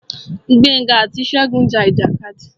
Gbénga àti Ṣegún ja ìjàkadì.